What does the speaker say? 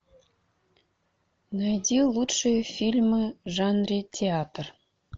найди лучшие фильмы в жанре театр